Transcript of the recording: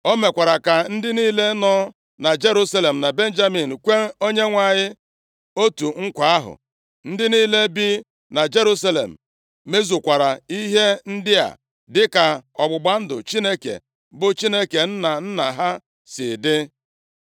O mekwara ka ndị niile nọ na Jerusalem na Benjamin kwee Onyenwe anyị otu nkwa ahụ. Ndị niile bi na Jerusalem mezukwara ihe ndị a dịka ọgbụgba ndụ Chineke, bụ Chineke nna nna ha si dị.